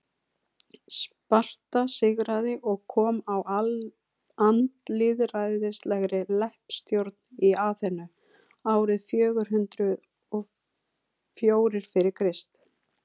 sparta sigraði og kom á andlýðræðislegri leppstjórn í aþenu árið fjögur hundruð og fjórir fyrir krist